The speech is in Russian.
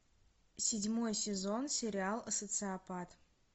седьмой сезон сериал социопат